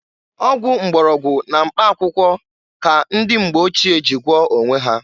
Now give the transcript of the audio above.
Ọgwụ mgbọrọgwụ na mkpa akwụkwọ ka ndị mgbe ochie ji gwoọọ onwe ha.